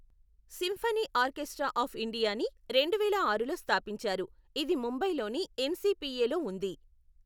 Symphony orchestra of ఇండియాని రెండువేల ఆరులో స్థాపించారు, ఇది ముంబైలోని ఎన్సిపిఏ లో ఉంది.